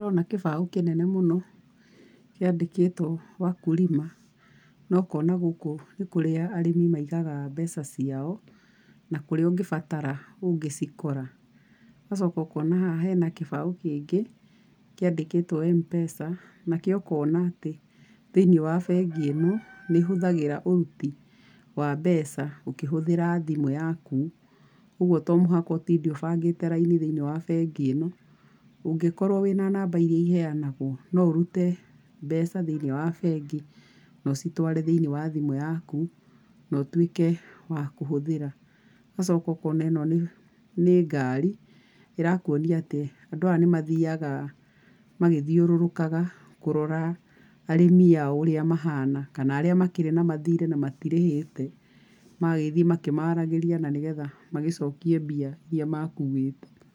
Nĩ ndĩrona kĩbao kĩnene mũno kĩandĩkĩtwo Wakulima no ũkona gũkũ nĩ kũrĩa arĩmi maigaga mbeca ciao, na ũngĩbatara kũrĩa ũngĩcikora. Ũgacoka ũkona haha hena kĩbaũ kĩngĩ kĩandĩkĩtwo Mpesa nakĩo ũkona atĩ thĩinĩ wa bengi ĩno nĩ ĩhũthagĩra ũruti wa mbeca ũkĩhũthĩra thimũ, ũguo to mũhaka ũtinde ũbangĩte raini thĩinĩ wa bengi ĩno. Ũngĩkorũo wĩna namba irĩa iheanagũo no ũrute mbeca thĩinĩ wa bengi na ũcitũare thĩinĩ wa thimũ yaku no ũtuĩke wa kũhũthĩra. Ũgacoka ũkona ĩno nĩ ngari ĩrakuonia atĩa, andũ aya nĩ mathiaga magĩthiũrũrũkaga kũrora arĩmi ao ũrĩa mahiana kana arĩa makĩrĩ na mathirĩ na matikĩrĩhĩte, magagĩthiĩ makĩmaragĩria na nĩgetha magĩcokie mbia irĩa makuĩte.